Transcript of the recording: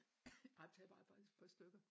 Ej tag bare faktisk et par stykker